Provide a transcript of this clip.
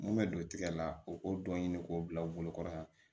Mun bɛ don tigɛ la o k'o dɔ ɲini k'o bila u bolokɔrɔ yan